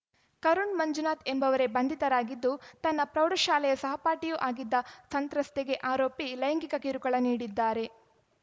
ಕರುಣ್‌ ಮಂಜುನಾಥ್‌ ಎಂಬುವರೇ ಬಂಧಿತರಾಗಿದ್ದು ತನ್ನ ಪ್ರೌಢಶಾಲೆಯ ಸಹಪಾಠಿಯೂ ಆಗಿದ್ದ ಸಂತ್ರಸ್ತೆಗೆ ಆರೋಪಿ ಲೈಂಗಿಕ ಕಿರುಕುಳ ನೀಡಿದ್ದಾರೆ